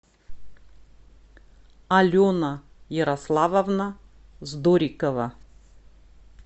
алена ярославовна здорикова